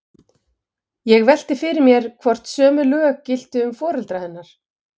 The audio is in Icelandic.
Ég velti því fyrir mér, hvort sömu lög giltu um foreldra hennar.